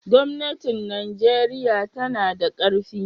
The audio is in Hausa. gwamnatin Najeriya tanada karfi